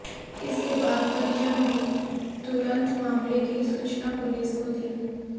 इसके बाद परिजनों ने तुरंत मामले की सूचना पुलिस को दी